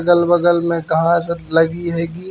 अगल-बगल में कहासत लगी है गी --